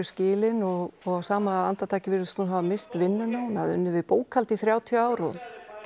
skilin og og á sama andartaki virðist hún missa vinnuna hún hafði unnið í bókhaldi í þrjátíu ár og